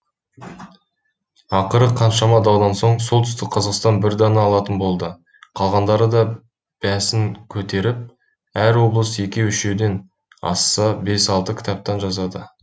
ақыры қаншама даудан соң солтүстік қазақстан бір дана алатын болды қалғандары да бәсін көтеріп әр облыс екеу үшеуден асса бес алты кітаптан жазады